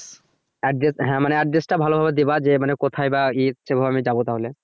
address হ্যা মানে address টা ভালোভাবে দিবা যে মানে কোথায় বা ইয়ে সেভাবে আমি যাবো তাহলে